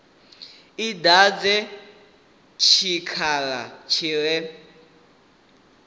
i dadze tshikhala tshi re